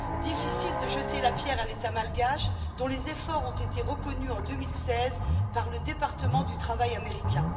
Difficile de jeter la pierre à l'état malgache, dont les efforts ont été reconnus en 2016 par le ministère du travail américain.